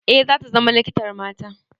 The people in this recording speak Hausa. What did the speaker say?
Eh, zata zama likitar mata.